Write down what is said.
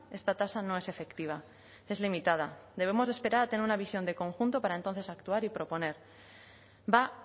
esta tasa no es efectiva es limitada debemos esperar a tener una visión de conjunto para entonces actuar y proponer va